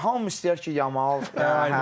Hamı istəyər ki, Yamal.